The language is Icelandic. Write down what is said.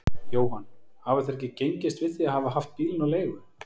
Jóhann: Hafa þeir ekki gengist við því að hafa haft bílinn á leigu?